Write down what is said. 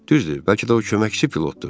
Düzdür, bəlkə də o köməkçi pilotdur.